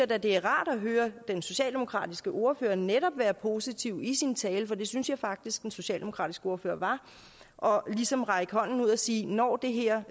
det er rart at høre den socialdemokratiske ordfører netop være positiv i sin tale for det synes jeg faktisk den socialdemokratiske ordfører var og ligesom række hånden ud og sige når det her